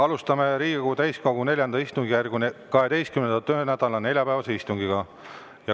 Alustame Riigikogu täiskogu IV istungjärgu 12. töönädala neljapäevast istungit.